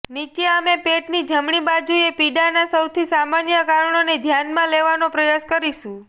નીચે અમે પેટની જમણી બાજુએ પીડાના સૌથી સામાન્ય કારણોને ધ્યાનમાં લેવાનો પ્રયાસ કરીશું